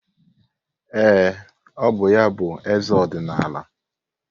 Ee, ọ bụ ya bụ eze ọdịnala.